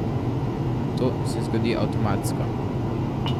To se zgodi avtomatsko.